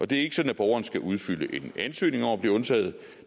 det er ikke sådan at borgeren skal udfylde en ansøgning om at blive undtaget